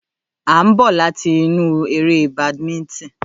À ń bọ̀ láti inú eré badminton.